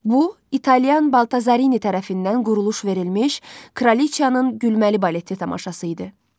Bu İtalyan Baltazarini tərəfindən quruluş verilmiş Kralıçanın gülməli baleti tamaşası idi.